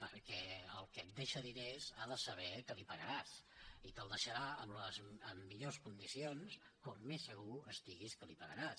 perquè el que et deixa diners ha de saber que li pagaràs i te’ls deixarà en millors condicions com més segur estigui que li pagaràs